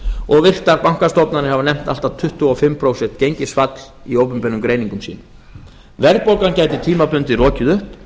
og virtar bankastofnanir hafa nefnt allt að tuttugu og fimm prósent gengisfall í opinberum greiningum sínum verðbólgan gæti tímabundið rokið upp